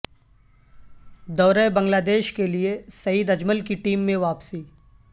دورہ بنگلہ دیش کے لیے سعید اجمل کی ٹیم میں واپسی